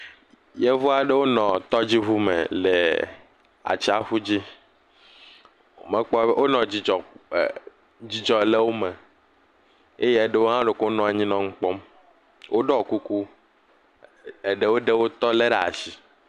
Yevuawo ɖewo nɔ tɔdziŋu me le atsiaƒu dzi, mekpɔ, wonɔ, dzidzɔ le wo me eye eɖewo hã ɖeko wonɔ anyi nɔ nu kpɔm. Woɖɔ kuku, eɖewo ɖe wotɔ lé ɖe asi.